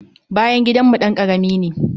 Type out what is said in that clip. Bayan gidanmu ɗan karami ne.